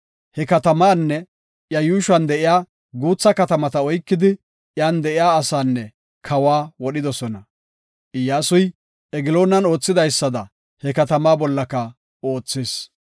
He katamaanne iya yuushuwan de7iya guutha katamata oykidi iyan de7iya asaanne kawa wodhidosona. Iyyasuy Egloonan oothidaysada he katamaa bollaka oothis.